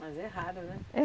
Mas é raro, né? É